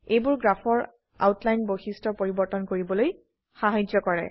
এইবোৰে গ্ৰাফৰ আউটলাইন বৈশিস্ঠ পৰিবৰ্তন কৰিবলৈ সাহায্য কৰে